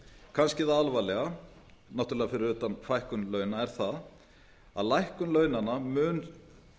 kannski það alvarlega náttúrlega fyrir utan fækkun launa er það að lækkun launanna mun